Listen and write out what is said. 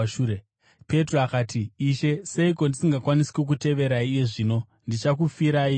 Petro akati, “Ishe seiko ndisingakwanisi kukuteverai iye zvino? Ndichakufirai ini.”